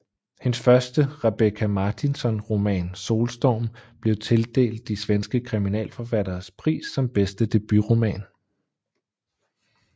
Hendes første Rebecka Martinsson roman Solstorm blev tildelt de svenske kriminalforfatteres pris som bedste debutroman